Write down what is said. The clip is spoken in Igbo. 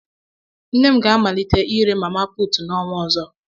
nne m ga-amalite ire "mama put" n'ọnwa ọzọ